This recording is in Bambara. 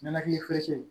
Nɛnɛkili ferecɛn